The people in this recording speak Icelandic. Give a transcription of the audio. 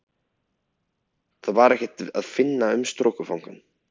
Þar var ekkert að finna um strokufangann.